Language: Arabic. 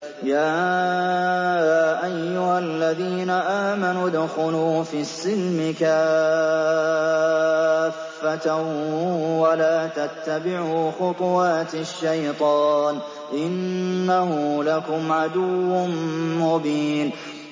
يَا أَيُّهَا الَّذِينَ آمَنُوا ادْخُلُوا فِي السِّلْمِ كَافَّةً وَلَا تَتَّبِعُوا خُطُوَاتِ الشَّيْطَانِ ۚ إِنَّهُ لَكُمْ عَدُوٌّ مُّبِينٌ